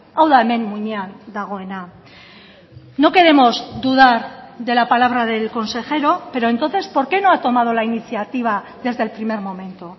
hau da hemen muinean dagoena no queremos dudar de la palabra del consejero pero entonces por qué no ha tomado la iniciativa desde el primer momento